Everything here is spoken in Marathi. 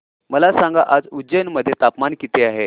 मला सांगा आज उज्जैन मध्ये तापमान किती आहे